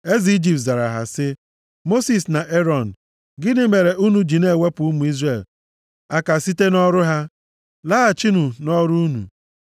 Eze Ijipt zara ha sị, “Mosis na Erọn, gịnị mere unu ji na-ewepụ ụmụ Izrel aka site nʼọrụ ha? Laghachinụ nʼọrụ unu!”